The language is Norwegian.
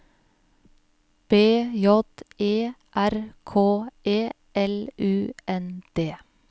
B J E R K E L U N D